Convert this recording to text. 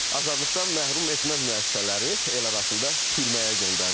və azadlıqdan məhrum etmə müəssisələri el arasında türməyə göndərilib.